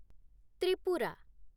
Tripura